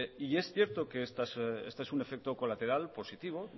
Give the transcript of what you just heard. y es cierto que este es un efecto colateral positivo